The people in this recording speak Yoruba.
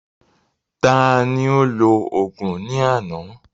Taani ó lò òògùn ní àná?